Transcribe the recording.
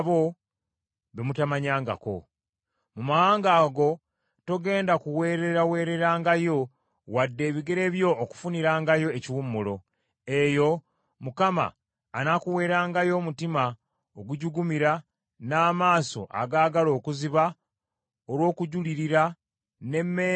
Mu mawanga ago togenda kuweereraweererangayo wadde ebigere byo okufunirangayo ekiwummulo. Eyo, Mukama anaakuweerangayo omutima ogujugumira, n’amaaso agaagala okuziba olw’okujulirira, n’emmeeme eweddemu essuubi.